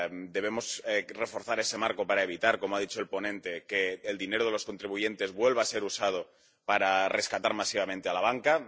Debemos reforzar ese marco para evitar, como ha dicho el ponente, que el dinero de los contribuyentes vuelva a ser usado para rescatar masivamente a la banca.